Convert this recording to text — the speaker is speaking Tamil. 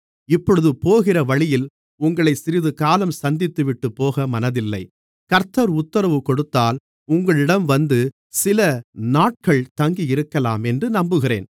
இப்பொழுது போகிற வழியில் உங்களை சிறிது காலம் சந்தித்துவிட்டுப் போக மனதில்லை கர்த்தர் உத்தரவு கொடுத்தால் உங்களிடம் வந்து சிலநாட்கள் தங்கியிருக்கலாமென்று நம்புகிறேன்